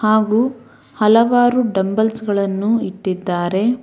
ಹಾಗೂ ಹಲವಾರು ಡಂಬಲ್ಸ್ ಗಳನ್ನು ಇಟ್ಟಿದ್ದಾರೆ.